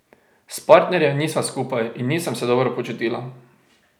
S partnerjem nisva skupaj in nisem se dobro počutila.